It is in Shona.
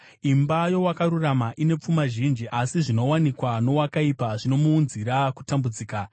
Imba yowakarurama ine pfuma zhinji, asi zvinowanikwa nowakaipa zvinomuunzira kutambudzika.